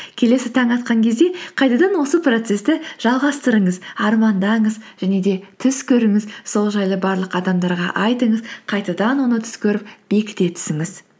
келесі таң атқан кезде қайтадан осы процессті жалғастырыңыз армандаңыз және де түс көріңіз сол жайлы барлық адамдарға айтыңыз қайтадан оны түс көріп бекіте түсіңіз